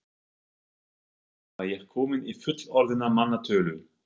Þar með var ég komin í fullorðinna manna tölu.